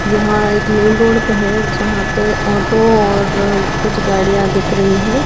यहां एक main road भी है जहां पे ऑटो और कुछ गाड़ियां दिख रही है।